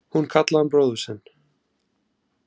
Hún kallaði hann bróður sinn.